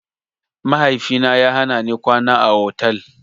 Mahaifina ya hanani kwana a otal.